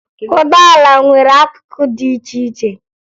Ụgbọala nwere akụkụ dị iche iche